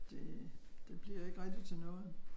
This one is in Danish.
Det det bliver ikke rigtig til noget